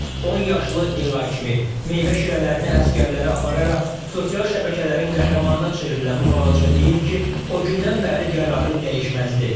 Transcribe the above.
10 yaşlı Elay kimi, meyvə şirələrini əsgərlərə apararaq, sosial şəbəkələrin qəhrəmanına çevrilən bu balaca deyir ki, o gündən bəri qərarı dəyişməzdir.